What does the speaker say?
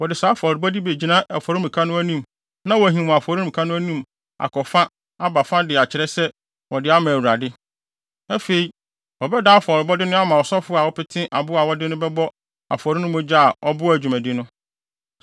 Wɔde saa afɔrebɔde yi bi begyina afɔremuka no anim na wɔahim wɔ afɔremuka no anim akɔ fa aba fa de akyerɛ sɛ wɔde ama Awurade. Afei, wɔbɛdan afɔrebɔde no ama ɔsɔfo a ɔpete aboa a wɔde no bɛbɔ afɔre no mogya a ɔboa dwumadi no.